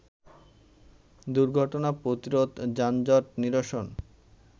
দুর্ঘটনা প্রতিরোধ, যানজট নিরসন